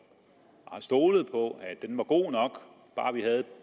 har stolet på at den var god nok bare vi havde